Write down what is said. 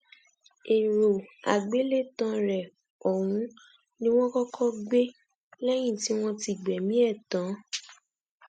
èrò àgbélétàn rẹ ọhún ni wọn kọkọ gbé lẹyìn tí wọn gbẹmí ẹ tán